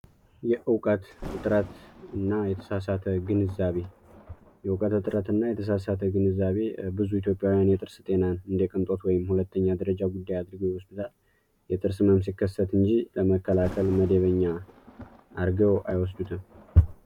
የእውቀት እጥረት እና የተሳሳተ ግንዛቤ የእውቀት እጥረት እና የተሳሳተ ግንዛቤ ብዙ ኢትዮጵያውያን የጥርስ ጤናን እንደ ቅንጦት ወይም ሁለተኛ ደረጃ ጉዳይ አድርገው ይወስዱታል። የጥርስ ህመም ሲከሰት እንጂ ለመከላከል መደበኛ አርገው አይወስዱትም።